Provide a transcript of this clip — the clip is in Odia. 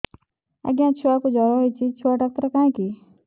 ଆଜ୍ଞା ଛୁଆକୁ ଜର ହେଇଚି ଛୁଆ ଡାକ୍ତର କାହିଁ କି